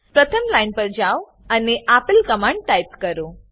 પ્રથમ લાઈન પર જાઓ અને આપેલ કમાંડ ટાઈપ કરો